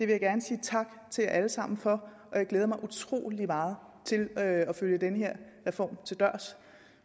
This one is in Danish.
jeg gerne sige tak til alle sammen for og jeg glæder mig utrolig meget til at følge den her reform til dørs